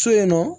So in nɔ